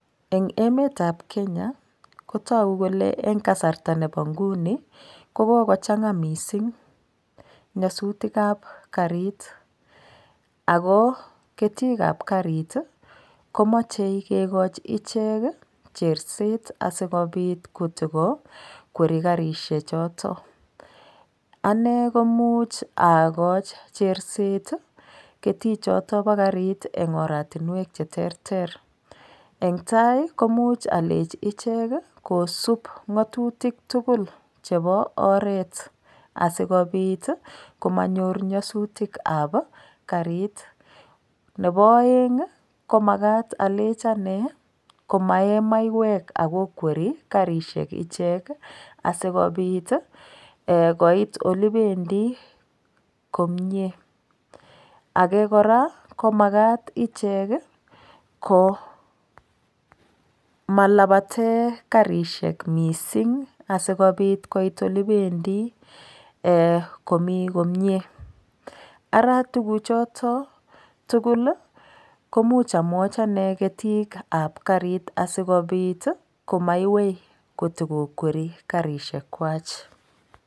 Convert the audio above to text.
Eng emet ab Kenya kotogu kole en kasarta neboinguni kokogochanga missing nyasutik ab karit ago ketik ab karit komoche kigochi ichek cherset asigokwer karisiek choton anegoimuuch agoi cherset ketik chotonbo karit en oratinwek cheterterentai koimuch amwachi ichek kosub ngatutik tugul chebo oret asigobiit komanyor nyasutik ab karit nebo aeng komagat alenchi motkoe maiwek kokwer karisiek ichek asigobiit koiit olegibendi komie age kora komagat ichek ko matkolabaten karisiek missing asigobiit kobaolekibendi komii komie aratuguk choton tugul koimuch amwachi anee ketik ab karit asigobiit komaiwei korib karisiek kwak